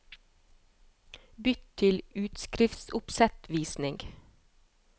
Bytt til utskriftsoppsettvisning